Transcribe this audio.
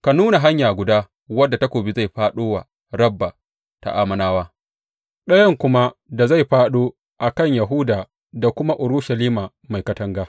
Ka nuna hanya guda wadda takobi zai fāɗo wa Rabba ta Ammonawa ɗayan kuma da zai fāɗo a kan Yahuda da kuma Urushalima mai katanga.